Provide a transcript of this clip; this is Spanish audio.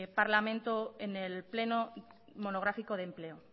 parlamento en el pleno monográfico de empleo